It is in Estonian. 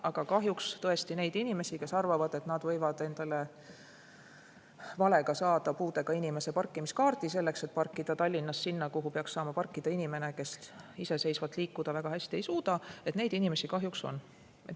Aga kahjuks tõesti neid inimesi, kes arvavad, et nad võivad endale valega saada puudega inimese parkimiskaardi, selleks et parkida Tallinnas sinna, kuhu peaks saama parkida inimene, kes iseseisvalt liikuda väga hästi ei suuda – neid inimesi kahjuks on.